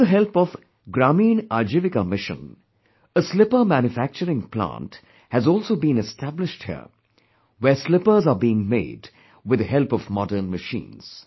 With the help of 'Gramin Ajivika Mission,'a slipper manufacturing plant has also been established here, where slippers are being made with the help of modern machines